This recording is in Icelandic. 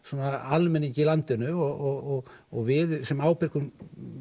almenningi í landinu og og við sem ábyrgir